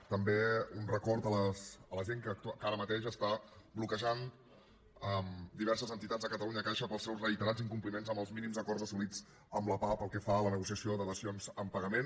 i també un record a la gent que ara mateix està bloquejant diverses entitats de catalunya caixa pels seus reiterats incompliments en els mínims acords assolits amb la pah pel que fa a la negociació de dacions en pagament